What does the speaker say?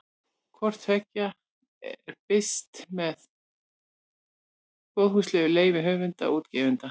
Hvort tveggja er birt með góðfúslegu leyfi höfunda og útgefanda.